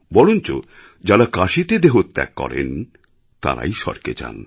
বরঞ্চযাঁরা কাশিতে দেহত্যাগ করেন তাঁরাই স্বর্গে যান